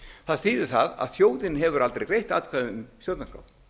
það þýðir það að þjóðin hefur aldrei greitt atkvæði um stjórnarskrá